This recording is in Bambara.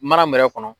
Mana mara kɔnɔ